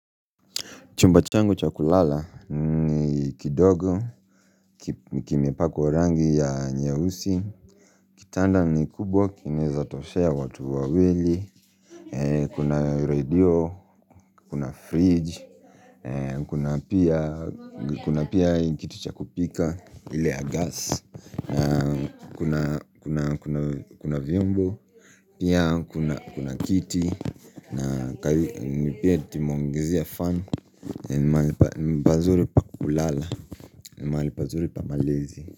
Chumba changu cha kulala ni kidogo Kimepakwa rangi ya nyeusi Kitanda ni kubwa kinaweza toshea watu wawili Kuna radio Kuna fridge Kuna pia kitu cha kupika ile ya gas Kuna vyombo Pia kuna kiti na kazi ni pia tumeongezea fan En mahali pazuru pa kulala En mahali pazuru pa malazi.